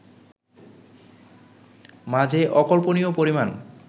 মাঝে অকল্পনীয় পরিমাণ